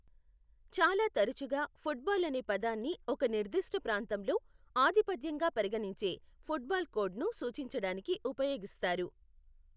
చాలా తరచుగా, ఫుట్బాల్ అనే పదాన్ని ఒక నిర్దిష్ట ప్రాంతంలో ఆధిపత్యంగా పరిగణించే ఫుట్బాల్ కోడ్ను సూచించడానికి ఉపయోగిస్తారు.